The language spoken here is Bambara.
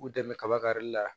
K'u dɛmɛ kaba karili la